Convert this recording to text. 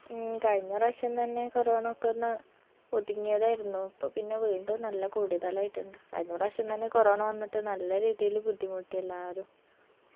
ഉം കയ്‌ന പ്രാവിശ്യം തന്നെ corona ക്കൊന്ന് ഉതുങ്ങിയതായിരുന്നു ഇപ്പൊ പിന്നെ വീണ്ടും നല്ല കൂടുതലായിട്ടിണ്ട് കയ്‌ന പ്രാവിശ്യം തന്നെ corona വന്നിട്ട് നല്ല രീതിയില് ബുദ്ധിമുട്ടി എല്ലാരും